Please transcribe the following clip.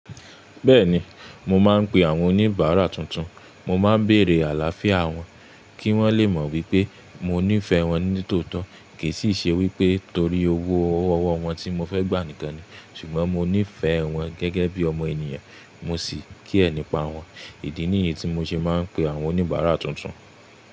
Bẹ́ẹ̀ni, mo máa ń pe àwọn oníbàárà tuntun. Mo máa ń bèrè àlàáfíà wọn kí wọ́n lè mọ̀ wípé mo níí ìfẹ́ wọn ní tòótọ́. Kì í sì ṣe wípé torí owó ọwọ́ wọn tí mo fẹ́ gbà nìkan ni, ṣùgbọ́n mo ní ìfẹ́ wọn gẹ́gẹ́ bí ọmọ ènìyàn, mo sì kí ẹ̀ nípa wọn. Ìdí nìyí tí mo ṣe máa ń pe àwọn oníbàárà tuntun.